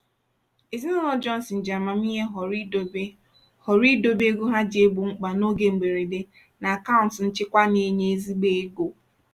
ezinụlọ johnson ji amamihe họrọ idobe họrọ idobe ego ha ji egbo mkpa n'oge mberede na akaụntụ nchekwa na-enye ezigbo ego.